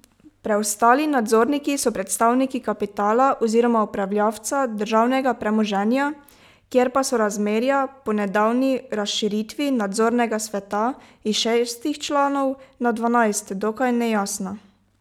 Preostali nadzorniki so predstavniki kapitala oziroma upravljavca državnega premoženja, kjer pa so razmerja po nedavni razširitvi nadzornega sveta iz šestih članov na dvanajst dokaj nejasna.